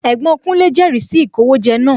Ẹ̀gbọ́n kúnlé jẹri sì ìkówójẹ náà